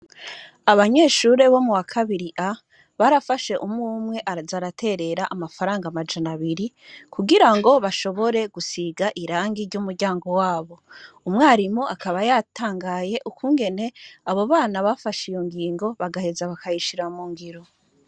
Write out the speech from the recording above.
Abanyeshure bo muwa kabiri A barafashe umwe umwe baraja baraterera amafaranga amajana abiri kugira ngo bashobore gusiga irangi ry'umuryango wabo, umwarimu akaba yatangaye ukungene abo bana bafashe iyo ngingo bagaheza bakayishira mu ngiro.